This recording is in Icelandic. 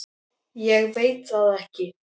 Ég veit það ekki